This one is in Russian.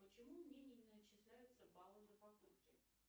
почему мне не начисляются баллы за покупки